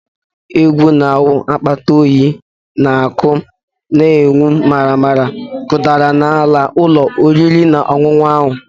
Egwu na-awụ akpata oyi n'ahụ na ọkụ na-enwu maramara kụdara ala ụlọ oriri na ọṅụṅụ ahụ